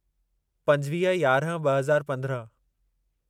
पंजवीह यारहं ब॒ हज़ार पंद्रहं